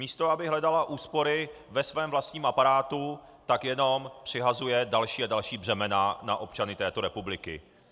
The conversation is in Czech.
Místo aby hledala úspory ve svém vlastním aparátu, tak jenom přihazuje další a další břemena na občany této republiky.